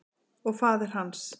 Og faðir hans.